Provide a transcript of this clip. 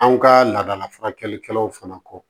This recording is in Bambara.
An ka laadala furakɛlikɛlaw fana kɔ